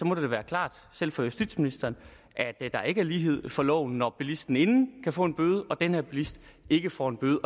må det da være klart selv for justitsministeren at der ikke er lighed for loven når bilisten inden kan få en bøde og den her bilist ikke får en bøde